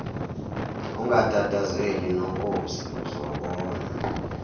ungatatazeli nonkosi uzobona